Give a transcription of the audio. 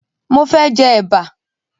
Mo fẹ́ jẹ Ẹ̀bà